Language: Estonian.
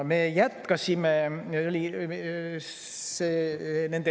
Me jätkasime.